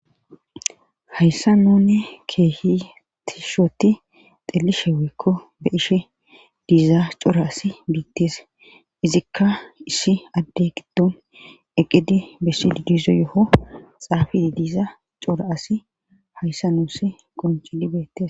Hayssa nunne keehitishoti xelishe weekko be ishe diizaa cora as biitteese izikka issi adde giddon eqidi bessiddizo yo7o xaafi diiza cora asi hayssa nuussi qoncidi beettes.